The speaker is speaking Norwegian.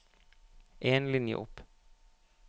En linje opp